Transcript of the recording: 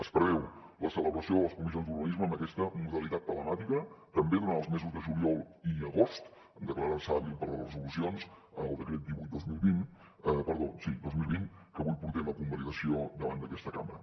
es preveu la celebració de les comissions d’urbanisme amb aquesta modalitat telemàtica també durant els mesos de juliol i agost en declarar se hàbil per a les resolucions en el decret divuit dos mil vint que avui portem a convalidació davant d’aquesta cambra